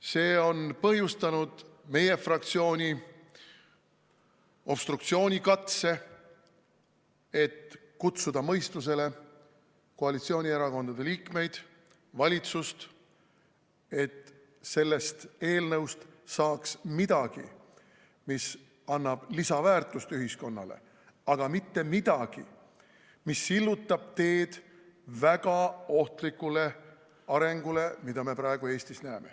See on põhjustanud meie fraktsiooni obstruktsioonikatse, et kutsuda mõistusele koalitsioonierakondade liikmeid, valitsust, et sellest eelnõust saaks midagi, mis annab lisaväärtust ühiskonnale, aga mitte midagi, mis sillutab teed väga ohtlikule arengule, mida me praegu Eestis näeme.